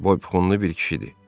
Boypxunlu bir kişidir.